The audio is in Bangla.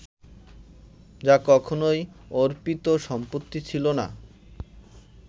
যা কখনোই অর্পিত সম্পত্তি ছিল না